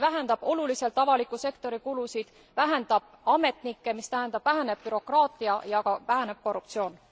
See vähendab oluliselt avaliku sektori kulusid, vähendab ametnikke, mis tähendab, et väheneb bürokraatia ja väheneb ka korruptsioon.